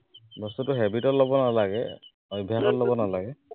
বস্তুটো habit ত লব নালাগে, অভ্য়াসত লব নালাগে